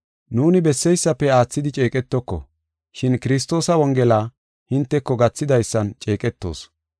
Nuuni besseysafe aathidi ceeqetoko, shin Kiristoosa Wongela hinteko gathidaysan ceeqetoos.